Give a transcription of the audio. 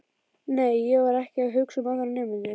Nei, ég var ekki að hugsa um aðra nemendur.